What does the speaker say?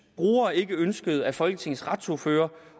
brugere ikke ønskede at folketingets retsordførere